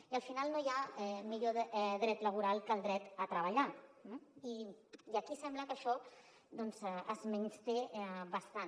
i al final no hi ha millor dret laboral que el dret a treballar i aquí sembla que això doncs es menysté bastant